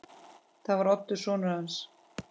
Það var Oddur sonur hans.